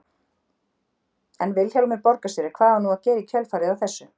En Vilhjálmur borgarstjóri, hvað á nú að gera í kjölfarið á þessu?